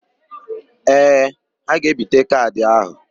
Ee, ha ga-ebite kaadị áhụ̀.